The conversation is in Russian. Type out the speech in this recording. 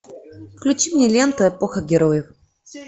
включи мне ленту эпоха героев